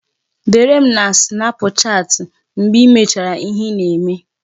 Dere m na sinapụchati mgbe I mechara ihe ị na-eme